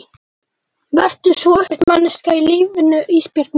Vertu svo upprétt manneskja í lífinu Ísbjörg mín.